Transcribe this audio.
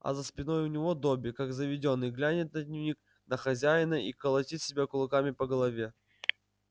а за спиной у него добби как заведённый глянет на дневник на хозяина и колотит себя кулаками по голове